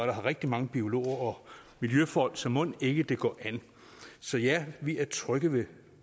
rigtig mange biologer og miljøfolk så mon ikke det går an så ja vi er trygge ved